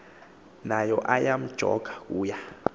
nayo ayamjoka kuya